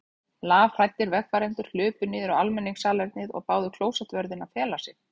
Lafhræddir vegfarendur hlupu niður á almenningssalernið og báðu klósettvörðinn að fela sig.